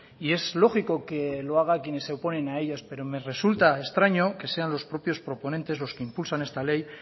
y es lógico que lo hagan quienes se oponen a ellas pero me resulta extraño que sean los propios proponentes los que impulsan esta ley